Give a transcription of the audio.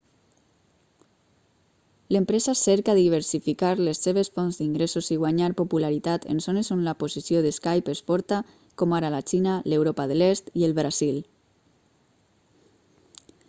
l'empresa cerca diversificar les seves fonts d'ingressos i guanyar popularitat en zones on la posició de skype és forta com ara la xina l'europa de l'est i el brasil